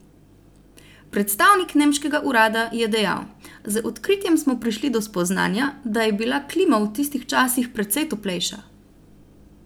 Predstavnik nemškega urada je dejal: "Z odkritjem smo prišli do spoznanja, da je bila klima v tistih časih precej toplejša.